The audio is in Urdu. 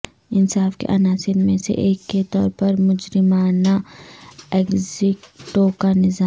انصاف کے عناصر میں سے ایک کے طور پر مجرمانہ ایگزیکٹو کا نظام